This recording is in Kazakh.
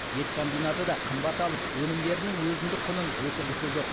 ет комбинаты да қымбат алып өнімдерінің өзіндік құнын өсіргісі жоқ